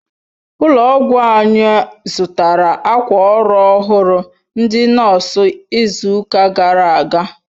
Ụlọ ọgwụ anyi zụtara akwa ọrụ ọhụrụ ndị nọọsụ izuka gara aga